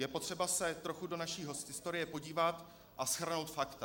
Je potřeba se trochu do naší historie podívat a shrnout fakta.